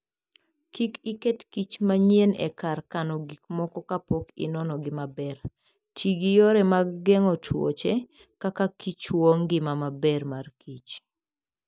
Kik iketkich manyien e kar kano gik moko kapok inonogi maber. Ti gi yore mag geng'o tuoche, kaka kichwo ngima maber mar kich.